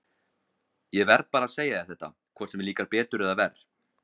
Ég verð bara að segja þér þetta, hvort sem þér líkar betur eða verr.